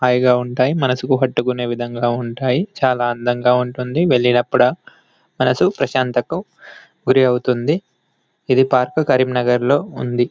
హాయిగా ఉంటాయి. మనసుకు హత్తుకునే విధంగా ఉంటాయి. చాలా అందంగా ఉంటుంది. వెళ్ళినప్పుడు మనసు ప్రశాంతకు గురి అవుతుంది . ఇది పార్కు కరీంనగర్ లో ఉంది.